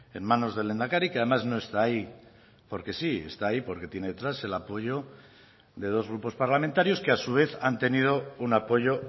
en manos del lehendakari que además no está ahí porque sí esta ahí porque tiene detrás el apoyo de dos grupos parlamentarios que a su vez han tenido un apoyo